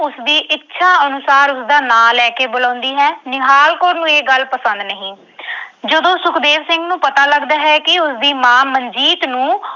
ਉਸਦੀ ਇੱਛਾ ਅਨੁਸਾਰ ਉਸਦਾ ਨਾਂ ਲੈ ਕੇ ਬੁਲਾਉਂਦੀ ਹੈ। ਨਿਹਾਲ ਕੌਰ ਨੂੰ ਇਹ ਗੱਲ ਪਸੰਦ ਨਹੀਂ। ਜਦੋਂ ਸੁਖਦੇਵ ਸਿੰਘ ਨੂੰ ਪਤਾ ਲੱਗਦਾ ਹੈ ਕਿ ਉਸਦੀ ਮਾਂ ਮਨਜੀਤ ਨੂੰ